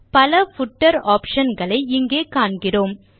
பல footer option களை இங்கே காண்கிறோம்